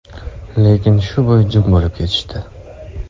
Lekin shu bo‘yi jim bo‘lib ketishdi.